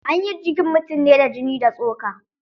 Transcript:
Anyi jikin mutum ne da jini da tsoka.